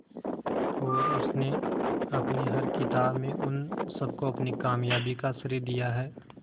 और उसने अपनी हर किताब में उन सबको अपनी कामयाबी का श्रेय दिया है